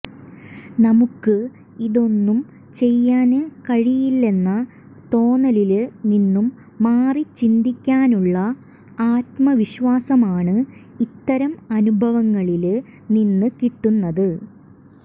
നമുക്ക് ഇതൊന്നും ചെയ്യാന് കഴിയില്ലെന്ന തോന്നലില് നിന്നും മാറി ചിന്തിക്കാനുള്ള ആത്മവിശ്വാസമാണ് ഇത്തരം അനുഭവങ്ങളില് നിന്ന് കിട്ടുന്നത്